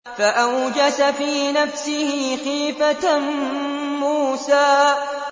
فَأَوْجَسَ فِي نَفْسِهِ خِيفَةً مُّوسَىٰ